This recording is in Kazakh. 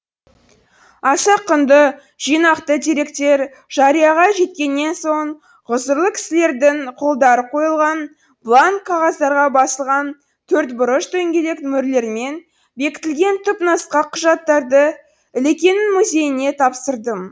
аса құнды жинақты деректер жарияға жеткеннен соң ғұзырлы кісілердің қолдары қойылған бланк қағаздарға басылған төртбұрыш дөңгелек мөрлермен бекітілген түпнұсқа құжаттарды ілекеңнің музейіне тапсырдым